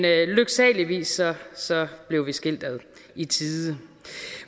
lykkeligvis blev vi skilt ad i tide